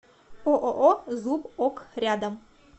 ооо зуб ок рядом